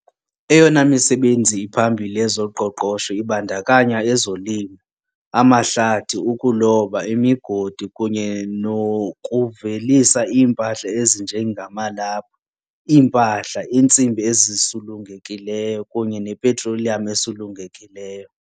Eyona misebenzi iphambili yezoqoqosho ibandakanya ezolimo, amahlathi, ukuloba, imigodi, kunye nokuvelisa iimpahla ezinje ngamalaphu, iimpahla, iintsimbi ezisulungekileyo, kunye nepetroleum esulungekileyo .